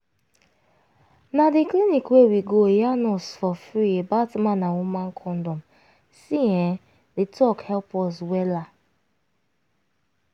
na dey clinic wey we go yarn us for freee about man and woman condom see[um]di talk help us wella.